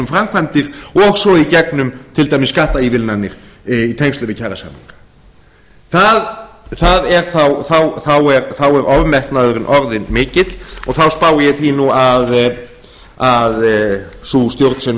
framkvæmdir og svo í gegnum til dæmis skattaívilnanir í tengslum við kjarasamninga þá er ofmetnaðurinn orðinn mikill og þá spái ég því nú að sú stjórn sem